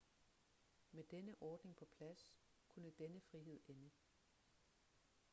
med denne ordning på plads kunne denne frihed ende